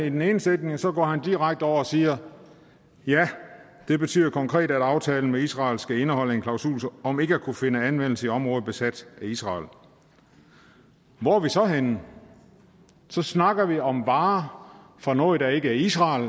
i den ene sætning og så går han direkte over og siger ja det betyder konkret at aftalen med israel skal indeholde en klausul om ikke at kunne finde anvendelse i områder besat af israel hvor er vi så henne så snakker vi om varer fra noget der ikke er israel